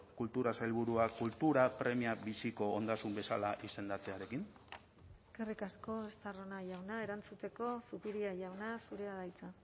kultura sailburua kultura premia biziko ondasun bezala izendatzearekin eskerrik asko estarrona jauna erantzuteko zupiria jauna zurea da hitza